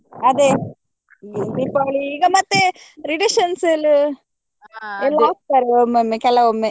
ಅದೆ ಮತ್ತೆ reduction sale ಎಲ್ಲ ಹಾಕ್ತಾರೆ ಒಮ್ಮೊಮ್ಮೆ ಕೆಲವೊಮ್ಮೆ.